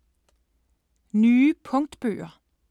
Nye punktbøger